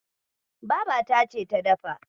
Babata ce ta dafa.